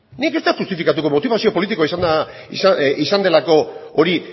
nik ez dut justifikatuko motibazio politikoa izan delako hori